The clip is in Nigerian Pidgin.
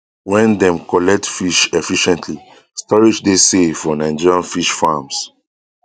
wen dem collect fish efficientlystorage dey safe for nigerian fish farms